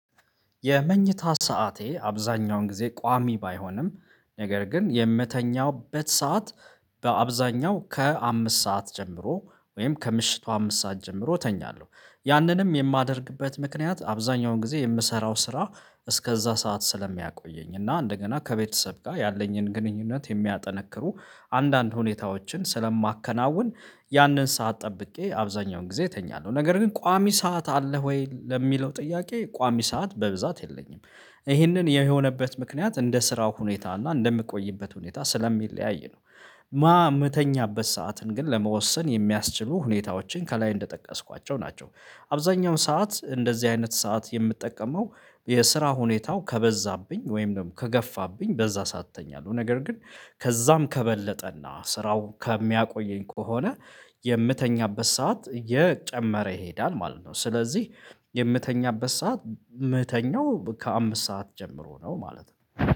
የመኝታ ሰዓቴ አብዛኛውን ጊዜ ቋሚ ባይሆንም ነገር ግን የምተኛውበት ሰዓት በአብዛኛው ከአምስት ሰዓት ጀምሮ ወይም ከምሽቱ አምስት ሰዓት ጀምሮ ተኛለሁ ያንንም የማደርግበት ምክንያት አብዛኛውን ጊዜ የምሰራው ስራ እስከዛ ሰዓት ስለሚያቆየኝ እና እንደገና ከቤተሰብ ጋር ያለኝን ግንኙነት የሚያጠነክሩ አንዳንድ ሁኔታዎችን ስለማከናውን ያንን ሰዓት ጠብቄ አብዛኛውን ጊዜ እተኛለሁ። ነገር ግን ቋሚ ሰዓት አለህ ወይ ለሚለው ጥያቄ ቋሚ ሰዓት በብዛት የለኝም። ይህንን የሆነበት ምክንያት እንደ ስራው ሁኔታ አለ እንደምቆይበት ሁኔታ ስለሚለያይ ነው። ማ የምተኛበት ሰዓትን ግን ለመወሰን የሚያስችሉ ሁኔታዎችን ከላይ እንደጠቀስኳቸው ናቸው። አብዛኛው ሰዓት እንደዚህ አይነት ሰዓት የምትጠቀመው? የስራ ሁኔታው ከበዛብኝ ወይም ደግሞ ከገፋብኝ በዛ እተኛለሁ ነገር ግን ከዛም ከበለጠና ስራው ከሚያቆየኝ ከሆነ የምተኛበት ሰዓት የጨመረ ይሄዳል ማለት ነው። ስለዚህ የምተኛበት ሰዓት የምተኛው ከአምስት ሰዓት ጀምሮ ነው ማለት ነው።